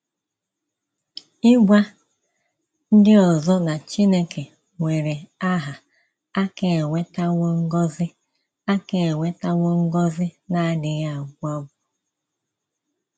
Ịgwa ndị ọzọ na Chineke nwere aha aka ewetawo ngọzi aka ewetawo ngọzi na - adịghị agwụ agwụ.